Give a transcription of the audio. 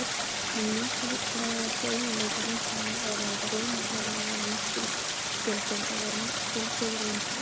Einn mikilvægasti eiginleiki rauntalnanna er að ef runa þeirra hefur markgildi, þá er markgildið rauntala.